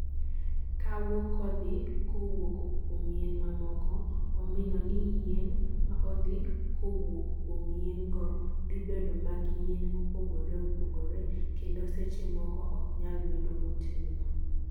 kawo kodhi kowuoko kuom yien mamoko omino ni yien ma opidhi kowuok kuom yien go dhibedo mad yien mopogore opogore kendo seche moko ok nyal bedo motegno